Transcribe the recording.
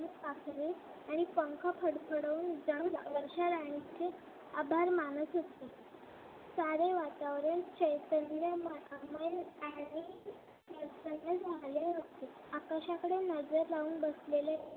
आणि पंख फडफडून जणू वर्षाराणीचे आभार मानत होते. सारे वातावरण चैतन्यमय आणि प्रसन्न झाले होते. आकाशाकडे नजर लावून बसलेले